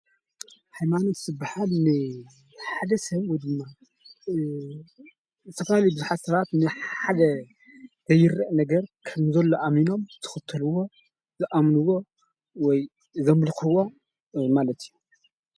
ሃይማኖት ዝበሃል ናይ ሓደ ሰብ ወይ ድማ ዝተፈላለዩ ቡዘሓት ሰባት ንሓደ ዘይረኣይ ነገር ከምዘሎ ኣሚኖም ዝኽተሉዎ ዝኣምንዎ ወይ ዘምልኽዎ ማለት እዩ።